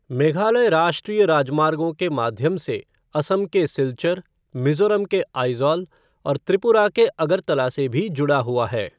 मेघालय राष्ट्रीय राजमार्गों के माध्यम से असम के सिल्चर, मिजोरम के आइजोल और त्रिपुरा के अगरतला से भी जुड़ा हुआ है।